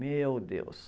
Meu Deus!